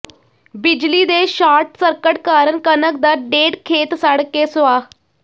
ਬਿਜਲੀ ਦੇ short circuit ਕਾਰਨ ਕਣਕ ਦਾ ਡੇਢ ਖੇਤ ਸੜ ਕੇ ਸੁਆਹ